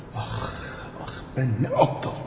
Ah, ah! Mən nə qədər axmağam!